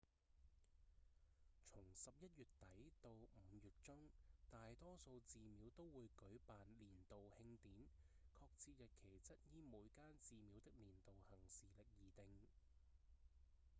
從十一月底到五月中大多數寺廟都會舉辦年度慶典確切日期則依每間寺廟的年度行事曆而定